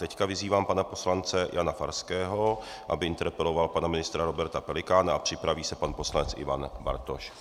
Teď vyzývám pana poslance Jana Farského, aby interpeloval pana ministra Roberta Pelikána, a připraví se pan poslanec Ivan Bartoš.